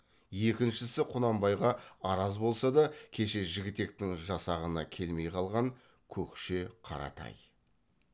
екіншісі құнанбайға араз болса да кеше жігітектің жасағына келмей қалған көкше қаратай